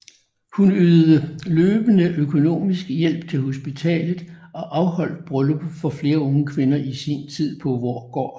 Hun ydede løbende økonomisk hjælp til hospitalet og afholdt bryllupper for flere unge kvinder i sin tid på Voergaard